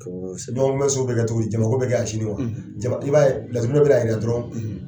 ɲɔgɔn kun bɛ so bɛ kɛ cogo di, jama ko bɛ kɛ yan sini wa jama i b'a laturuden bɛna yira dɔrɔn